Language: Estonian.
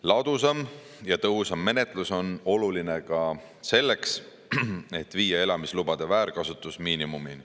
Ladusam ja tõhusam menetlus on oluline ka selleks, et viia elamislubade väärkasutus miinimumini.